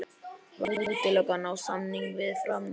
Var útilokað að ná samningum við Fram?